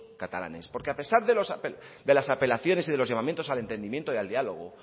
catalanes porque a pesar de las apelaciones y de los llamamientos al entendimiento y al diálogo